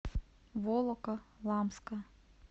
волоколамска